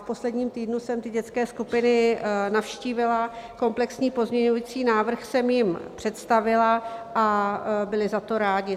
V posledním týdnu jsem ty dětské skupiny navštívila, komplexní pozměňovací návrh jsem jim představila a byli za to rádi.